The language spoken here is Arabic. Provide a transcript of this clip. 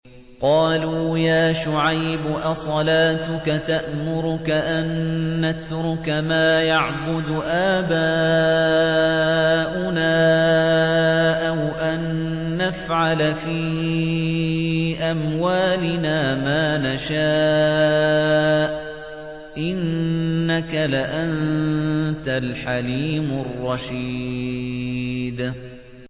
قَالُوا يَا شُعَيْبُ أَصَلَاتُكَ تَأْمُرُكَ أَن نَّتْرُكَ مَا يَعْبُدُ آبَاؤُنَا أَوْ أَن نَّفْعَلَ فِي أَمْوَالِنَا مَا نَشَاءُ ۖ إِنَّكَ لَأَنتَ الْحَلِيمُ الرَّشِيدُ